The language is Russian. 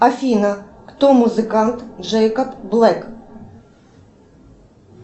афина кто музыкант джейкоб блэк